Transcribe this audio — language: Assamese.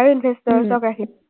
আৰু investors ক ৰাখিছে।